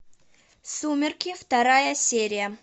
сумерки вторая серия